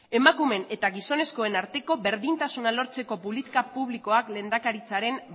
emakumeen eta gizonezkoen arteko berdintasuna lortzeko politiko publikoak lehendakaritzaren